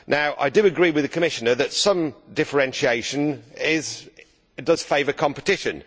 I agree with the Commissioner that some differentiation does favour competition.